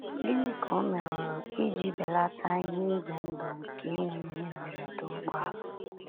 Gịnị ka o meworo iji belata ihe ize ndụ nke inwe ihe mberede ụgbọala?